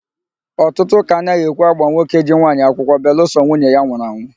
Ọtụtụ ụ́kà anaghị ekwe ágbà nwoke ji nwaanyị akwụkwọ belụsọ nwunye ya anwụrụ anwụ.